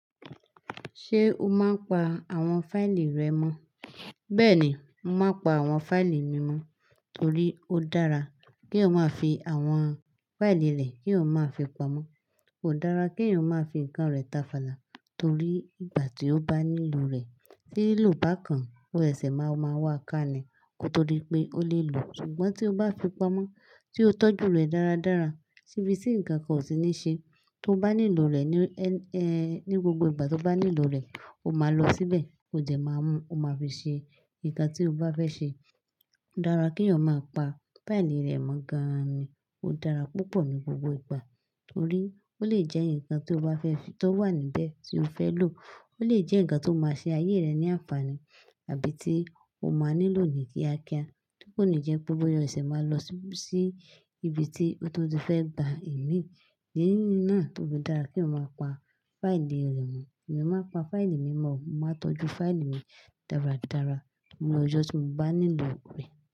Ṣé o máa ń pa àwọn fáìlì rẹ mọ́? Bẹ́ẹ̀ni, mo máa pa àwọn fáìlì mi mọ́ torí ó dára kí èyàn máa fi àwọn fáìlì rẹ kí èyàn máa fi pamọ́. Kò dára kí ẹyan máa fi nǹkan rẹ̀ tafàlà torí ìgbà tí ó bá nílò rẹ̀, tí lílò bá kan, ó sèsè máa máa wá ká ní kò tó di pé ó lè lò. Ṣùgbọ́n tí o bá fi pamọ́, tí o tọ́jú rẹ̀ dára dára, ti ibi tí nǹkankan ó sí ní ṣe, tí o bá nílò rẹ̀ ní, ẹ́, ẹ́, ní gbogbo ìgbà tó bá nílò rẹ̀, o máa lọ síbẹ̀, ó jẹ̀ máa mú, o máa fi ṣe nǹkan tí o bá fẹ́ ṣe. Ó dára kí èyàn máa pa fáìlì rẹ̀ mọ́ gan-an ni. Ó dára púpọ̀ ní gbogbo ìgbà torí ó lè jẹ́ ǹkan tí o bá fẹ́ fi, tó wà níbẹ̀ tí o fẹ́ lò. Ó lè jẹ́ ǹkan tó máa ṣe ayé rẹ ní àǹfààní àbí tí o máa nílò ní kíákíá, tí kò ní jẹ́ pé bóyá ọṣẹ̀ máa lọ sí ibi tí ó tún ti fẹ́ gba ẹ̀ mìí Ìdí nínú náà tó dára kí o máa pa fáìlì rẹ̀ mọ́. Èmi máa pa fáìlì mi mọ́, màá tọ́jú fáìlì mi dára dára lọ́jọ́ tí mo bá nílò rẹ̀.